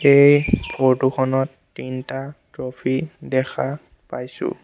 এই ফটো খনত তিনটা ট্ৰফী দেখা পাইছোঁ।